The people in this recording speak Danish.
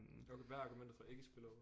Okay hvad er argumentet for ikke spillover